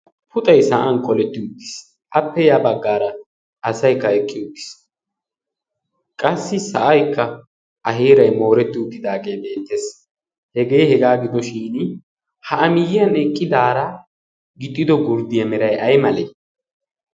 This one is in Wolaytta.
puxai sa'an koletti uddiis appe ya baggaara asaikka eqqi uddiis qassi sa'aykka aheerai mooretti uttidaagee deenttees hegee hegaa gidoshin ha amiyyiyan eqqidaara gixxido gurddiya meray ay malee?